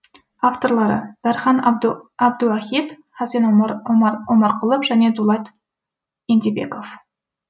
авторлары дархан әбдуахит хасен омарқұлов және дулат ентебеков